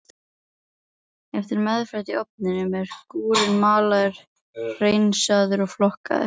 Eftir meðferð í ofninum er gúrinn malaður, hreinsaður og flokkaður.